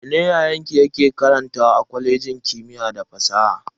Mene yayanki ke karanta a kwalejin kimiyya da fasaha?